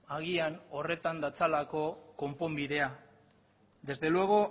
agian horretan datzalako konponbidea desde luego